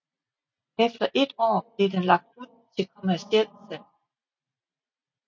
Efter et år blev den lagt ud til kommercielt salg